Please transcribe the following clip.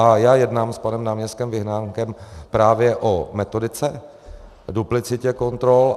A já jednám s panem náměstkem Vyhnánkem právě o metodice, duplicitě kontrol.